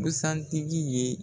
Busantigi ye